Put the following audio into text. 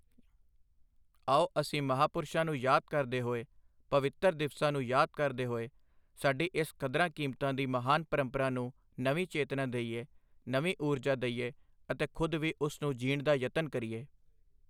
ਆਓ, ਅਸੀਂ ਮਹਾਪੁਰਸ਼ਾਂ ਨੂੰ ਯਾਦ ਕਰਦੇ ਹੋਏ, ਪਵਿੱਤਰ ਦਿਵਸਾਂ ਨੂੰ ਯਾਦ ਕਰਦੇ ਹੋਏ, ਸਾਡੀ ਇਸ ਕਦਰਾਂ ਕੀਮਤਾਂ ਦੀ ਮਹਾਨ ਪ੍ਰੰਪਰਾ ਨੂੰ ਨਵੀਂ ਚੇਤਨਾ ਦਈਏ, ਨਵੀਂ ਊਰਜਾ ਦਈਏ ਅਤੇ ਖੁਦ ਵੀ ਉਸ ਨੂੰ ਜੀਣ ਦਾ ਯਤਨ ਕਰੀਏ।